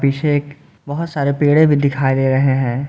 पीछे बहुत सारे पेड़े भी दिखाई दे रहे हैं।